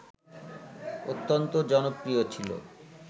অত্যন্ত জনপ্রিয় ছিল